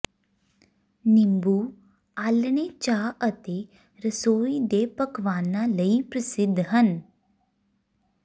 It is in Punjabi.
ਨਿੰਬੂ ਆਲ੍ਹਣੇ ਚਾਹ ਅਤੇ ਰਸੋਈ ਦੇ ਪਕਵਾਨਾਂ ਲਈ ਪ੍ਰਸਿੱਧ ਹਨ